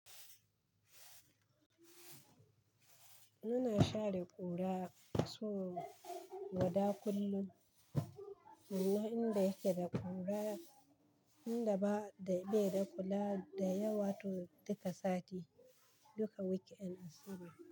Muna share ƙura so gwada kullum. Amma inda yake da ƙura, inda ba dai baida kura da yawa to duka sati, duka weekend asabar.